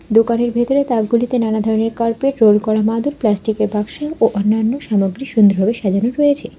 দোকানের ভেতরে তাকগুলিকে নানা ধরনের কার্পেট রোল করা মাদুর প্লাস্টিকের বাক্স ও অন্যান্য সামগ্রী সুন্দরভাবে সাজানো রয়েছে।